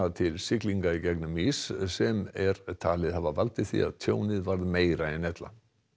til siglinga í gegnum ís sem er talið hafa valdið því að tjónið varð meira en ella